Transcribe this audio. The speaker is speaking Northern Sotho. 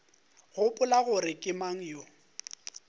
gopola gore ke mang yo